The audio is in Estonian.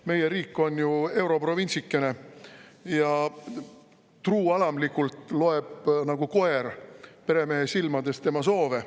Meie riik on ju europrovintsikene ja truualamlikult loeb nagu koer peremehe silmades tema soove.